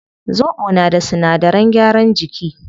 Zobo na da sinadaran gyaran jiki